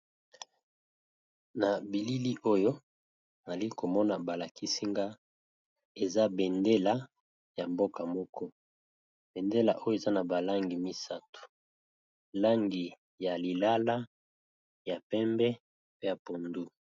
Na bilili oyo nali ko mona ba lakisi nga eza bendele ya mboka moko, bendele oyo eza na ba langi misato , langi ya lilala, ya pembe, pe ya pondu .